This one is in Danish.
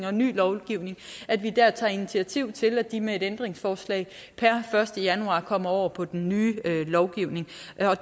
og ny lovgivning tager initiativ til at de med et ændringsforslag per første januar kommer over på den nye lovgivning